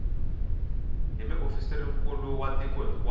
hi muofisirinkulu wa tiko hinkwaro